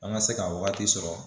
An ka se ka waati sɔrɔ